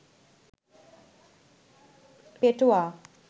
পেটোয়া